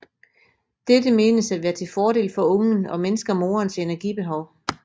Dette menes at være til fordel for ungen og mindsker morens energibehov